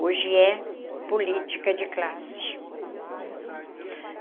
Hoje é política de classe.